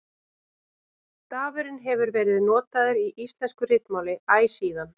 Stafurinn hefur verið notaður í íslensku ritmáli æ síðan.